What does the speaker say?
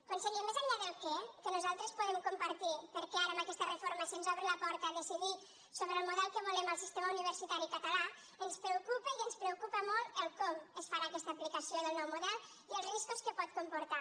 conseller més enllà del què que nosaltres podem compartir perquè ara amb aquesta reforma se’ns obre la porta a decidir sobre el model que volem al sistema universitari català ens preocupa i ens preocupa molt el com es farà aquesta aplicació del nou model i els riscos que pot comportar